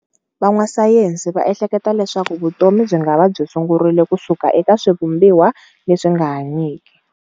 Van'wasayensi va ehleketa leswaku vutomi byingava byi sungurile kusuka eka swivumbiwa leswinga hanyiki.